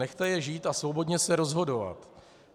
Nechte je žít a svobodně se rozhodovat.